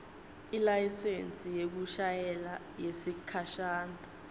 ilayisensi yekushayela yesikhashana